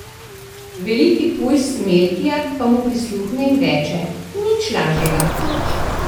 Veliki pujs Melkijad pa mu prisluhne in reče: 'Nič lažjega.